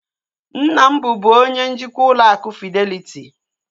Nna m bubu onye njikwa ụlọ akụ fideliti